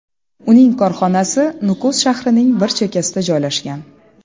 Uning korxonasi Nukus shahrining bir chekkasida joylashgan.